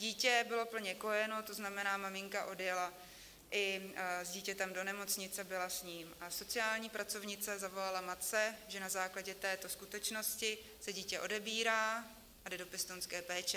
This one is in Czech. Dítě bylo plně kojeno, to znamená, maminka odjela i s dítětem do nemocnice, byla s ním, a sociální pracovnice, zavolala matce, že na základě této skutečnosti se dítě odebírá a jde do pěstounské péče.